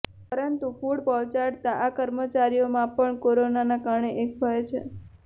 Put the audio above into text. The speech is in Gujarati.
પરંતુ ફૂડ પહોંચાડતા આ કર્મચારીઓમાં પણ કોરોનાના કારણે એક ભય છે